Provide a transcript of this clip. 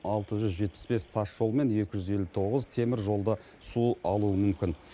алты жүз жетпіс бес тасжол мен екі жүз елу тоғыз теміржолды су алуы мүмкін